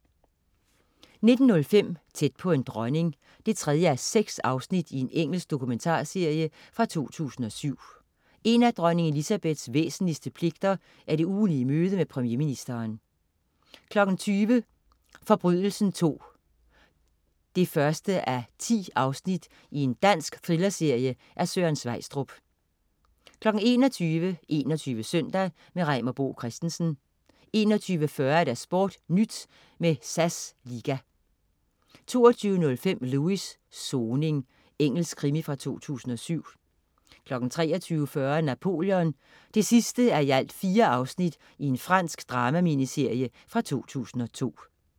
19.05 Tæt på en dronning 3:6. Engelsk dokumentarserie fra 2007. En af dronning Elizabeths væsentligste pligter er det ugentlige møde med premierministeren 20.00 Forbrydelsen II 1:10. Dansk thrillerserie af Søren Sveistrup 21.00 21 Søndag. Reimer Bo Christensen 21.40 SportNyt med SAS Liga 22.05 Lewis: Soning. Engelsk krimi fra 2007 23.40 Napoleon 4:4. Fransk drama-miniserie fra 2002